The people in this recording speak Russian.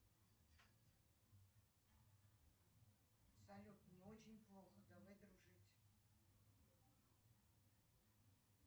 салют мне очень плохо давай дружить